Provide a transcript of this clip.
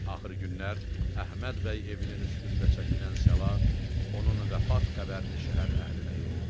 Axır günlər Əhməd bəy evinin üstündə çəkilən salat onun vəfat qəbərini şəhər əhlinə yetirdi.